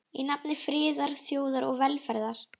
Í nafni friðar, þjóðar og velferðar.